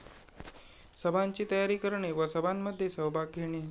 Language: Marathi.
सभांची तयारी करणे व सभांमध्ये सहभाग घेणे